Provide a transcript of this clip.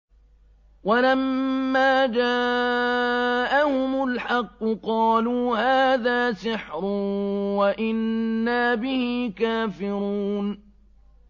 وَلَمَّا جَاءَهُمُ الْحَقُّ قَالُوا هَٰذَا سِحْرٌ وَإِنَّا بِهِ كَافِرُونَ